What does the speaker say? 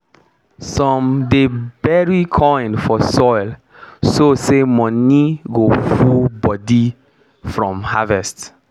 some dey bury coin for soil so say money go full body from harvest